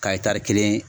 Ka kelen